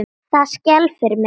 Það skelfir mig.